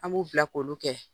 An b' u bla k' olu kɛ.